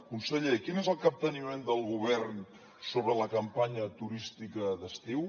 conseller quin és el capteniment del govern sobre la campanya turística d’estiu